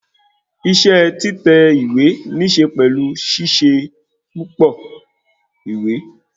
Isẹ́ títẹ̀ ìwé níse pẹ̀lú ṣíṣe púpọ ìwé